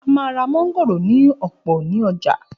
A máa ra mángòrò ní ọ̀pọ̀ ní ọjà.